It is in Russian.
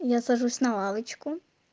я сажусь на лавочку